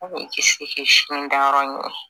K'i kisi k'i simin da yɔrɔ ɲini